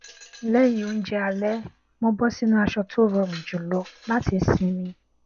lẹyìn oúnjẹ alẹ mo bọ sínú aṣọ tó rọrùn jùlọ láti sinmi